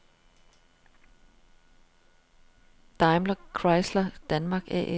Daimlerchrysler Danmark A/S